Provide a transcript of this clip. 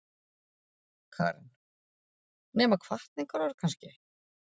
Karen: Nema hvatningarorð kannski?